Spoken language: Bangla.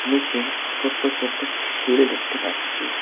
নীচে ছোট্ট ছোট্ট ঝিল দেখতে পাচ্ছি।